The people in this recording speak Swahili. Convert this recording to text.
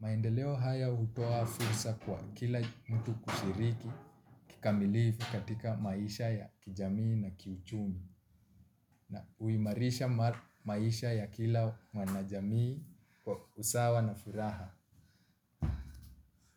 Maendeleo haya utoa fursa kwa kila mtu kushiriki kikamilifi katika maisha ya kijamii na kiuchumi na uimarisha maisha ya kila mwanajamii kwa usawa na furaha.